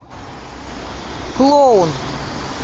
клоун